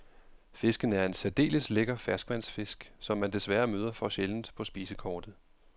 Fisken er en særdeles lækker ferskvandsfisk, som man desværre møder for sjældent på spisekortet.